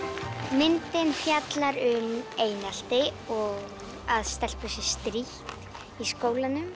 myndin fjallar um einelti og að stelpu sé strítt í skólanum